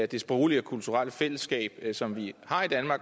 det sproglige og kulturelle fællesskab som vi har